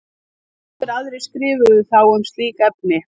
Fáir aðrir skrifuðu þá um slík efni.